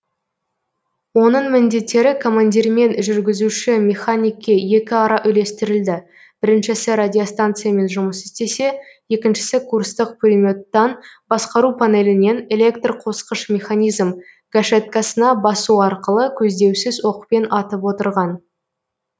оның міндеттері командирмен жүргізуші механикке екіара үлестірілді біріншісі радиостанциямен жұмыс істесе екіншісі курстық пулеметтан басқару панелінен электрқосқыш механизм гашеткасына басу арқылы көздеусіз оқпен атып отырған